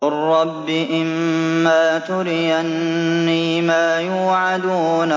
قُل رَّبِّ إِمَّا تُرِيَنِّي مَا يُوعَدُونَ